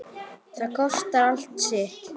Það kostar allt sitt.